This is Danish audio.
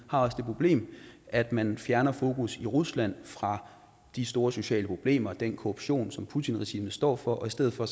også det problem at man fjerner fokus i rusland fra de store sociale problemer og den korruption som putins regime står for i stedet for